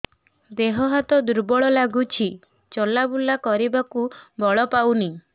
ଦେହ ହାତ ଦୁର୍ବଳ ଲାଗୁଛି ଚଲାବୁଲା କରିବାକୁ ବଳ ପାଉନି